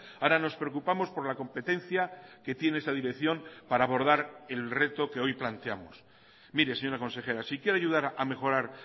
ahora nos preocupamos por la competencia que tiene esa dirección para abordar el reto que hoy planteamos mire señora consejera si quiere ayudar a mejorar